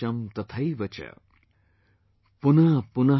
SheshamTathaivacha